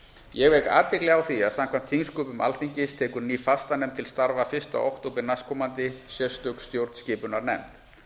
ég vek athygli á að samkvæmt þingsköpum alþingis tekur ný fastanefnd til starfa fyrsta október næstkomandi sérstök stjórnskipunarnefnd